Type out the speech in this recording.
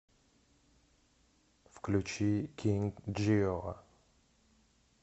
включи кинг джио